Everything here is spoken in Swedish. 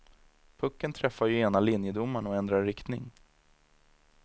Pucken träffade ju ena linjedomaren och ändrade riktning.